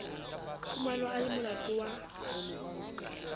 fumanwa a le molato wa